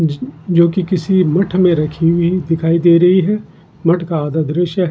ज-जो की किसी मट्ठ में रखी हुई दिखाई दे रही है मट्ठ का आधा दॄश्य है।